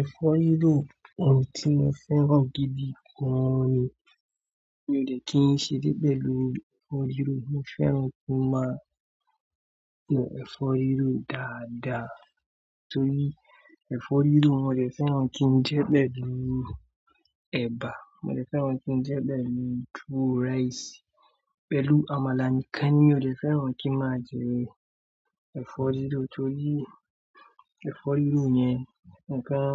Ẹ̀fọ́ riró ọ̀ún tí mo fẹ́ràn gidi gan ni. Mi ò de kí n ṣeré pẹ̀lú ẹ̀fọ́ riró. Mo fẹ́ràn kí n máa jẹ ẹ̀fọ́ riró dáadáa torí ẹ̀fọ́ riró mo de fẹ́ràn kí n jẹ́ pẹ̀lú ẹ̀bà, mo dè fẹ́ràn kí n jẹ́ pẹ̀lú tuó ráìsì, pẹ̀lú àmàlà nìkan nimi ode fẹ́ràn kí n máa jẹ ẹ̀fọ́ riró torí ẹ̀fọ́ riró yẹn nǹkan